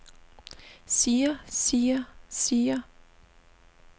siger siger siger